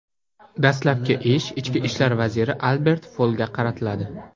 Dastlabki ish ichki ishlar vaziri Albert Folga qaratiladi.